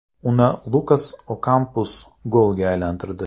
Uni Lukas Okampos golga aylantirdi.